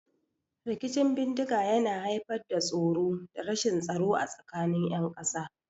Rikicin bindiga yana haifar da tsoro da rashin tsaro a tsakanin ƴan ƙasa.